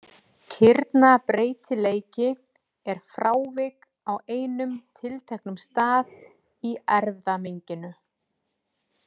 Kirnabreytileiki er frávik á einum tilteknum stað í erfðamenginu.